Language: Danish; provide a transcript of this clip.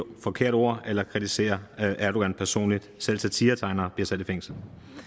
forkerte ord eller kritisere erdogan personligt selv satiretegnere bliver sat i fængsel